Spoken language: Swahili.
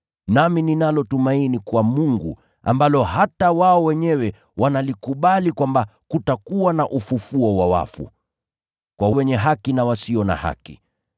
nami ninalo tumaini kwa Mungu, ambalo hata wao wenyewe wanalikubali kwamba kutakuwa na ufufuo wa wafu, kwa wenye haki na wasio na haki.